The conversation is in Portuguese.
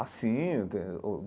Ah, sim. Eu ten o